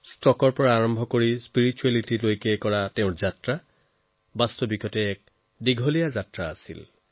ষ্টকৰ পৰা আধ্যাত্মিকতা বাস্তৱত তেওঁৰ যাত্ৰা পথ অতি সুদীৰ্ঘ